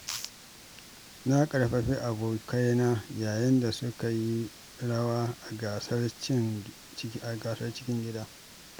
Na ƙarfafi abokaina yayin da suka yi rawa a gasar cikin gida.